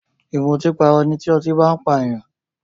Ìmùtípara ni tí ọtí bá n pa èèyàn